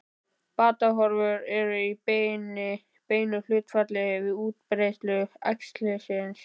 Batahorfur eru í beinu hlutfalli við útbreiðslu æxlisins.